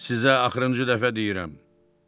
Sizə axırıncı dəfə deyirəm.